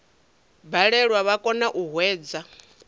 balelwa vha kona u hwedza